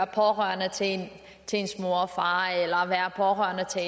pårørende til ens mor og far eller pårørende til